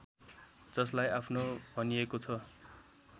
जसलाई आफ्नो भनिएको छ